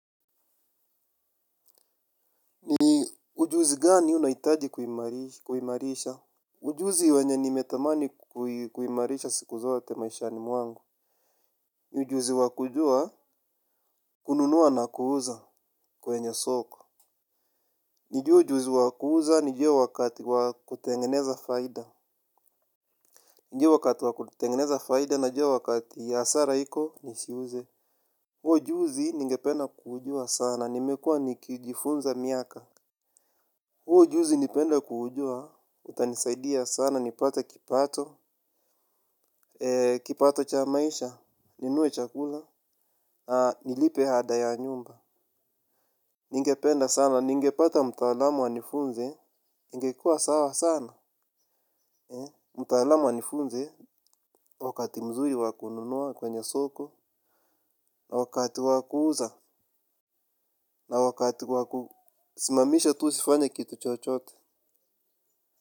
Ni ujuzi gani unahitaji kuimarisha ujuzi wenye nimetamani kuimarisha siku zote maishani mwangu. Ujuzi wa kujua kununua na kuuza kwenye soko. Nijue ujuzi wa kuuza nijue wakati wa kutengeneza faida nijue wakati wa kutengeneza faida najua wakati hasara iko nisiuze. Huu ujuzi ningependa kuujua sana nimekuwa nikijifunza miaka huu ujuzi ningependa kuujua utanisaidia sana nipate kipato, kipato cha maisha, ninunue chakula, nilipe ada ya nyumba. Ningependa sana, ningepata mtaalamu anifunze, ningekuwa sawa sana. Mtaalamu anifunze wakati mzuri wa kununua kwenye soko na wakati wa kuuza, na wakati wa kusimamisha tu usifanye kitu chochote.